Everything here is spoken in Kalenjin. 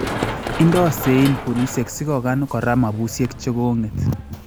Indo seyiin boliisyeek sikokan kora mabusyeek che kong�et